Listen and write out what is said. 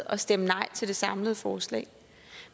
at stemme nej til det samlede forslag